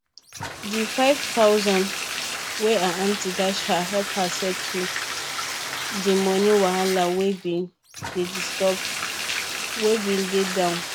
dey five thousand wey her aunty dash her help her settle dey money wahala wey bin dey down